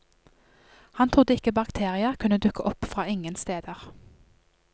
Han trodde ikke bakterier kunne dukke opp fra ingen steder.